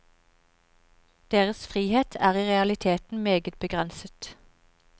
Deres frihet er i realiteten meget begrenset.